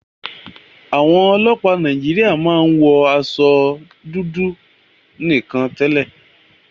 Àwọn ọlọ́pàá Nàíjíríà máa ń wọ aṣọ iṣẹ́ dúdú nìkan tẹ́lẹ̀.